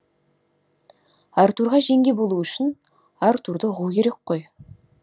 артурға жеңге болу үшін артурды ұғу керек қой